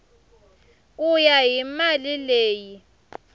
ku ya hi mali leyi